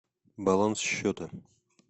баланс счета